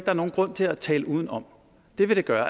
er nogen grund til at tale udenom det vil det gøre